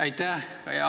Aitäh!